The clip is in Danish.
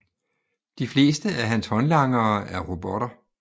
De fleste af hans håndlangere er robotter